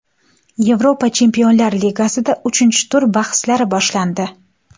Yevropa Chempionlar ligasida uchinchi tur bahslari boshlandi.